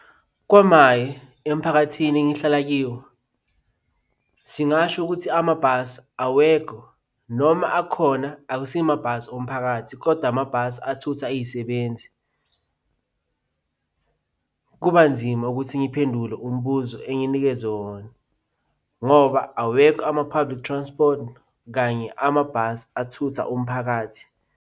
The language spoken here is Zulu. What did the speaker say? KwaMaye, emphakathini engihlala kiwo singasho ukuthi amabhasi awekho noma akhona akusiwo amabhasi omphakathi kodwa amabhasi athutha iysebenzi. Kuba nzima ukuthi ngiphendule umbuzo enginikezwe wona ngoba awekho ama-public transport kanye amabhasi athutha umphakathi.